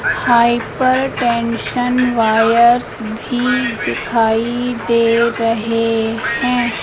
Hypertension wires भी दिखाई दे रहे हैं।